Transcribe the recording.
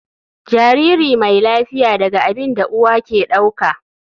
Jariri mai lafiya daga abin da uwa ke dauka.